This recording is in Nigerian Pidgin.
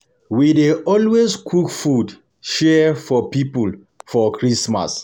We dey always cook food share for pipo for Christmas.